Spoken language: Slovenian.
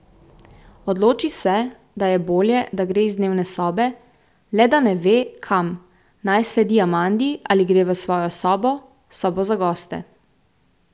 Odloči se, da je bolje, da gre iz dnevne sobe, le da ne ve, kam, naj sledi Amandi ali gre v svojo sobo, sobo za goste.